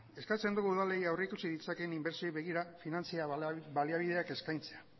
eskatzen dugu udalei aurri ditzaken inbertsioa begira finantza baliabideak eskaintzea